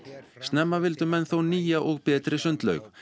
snemma vildu menn þó nýja og betri sundlaug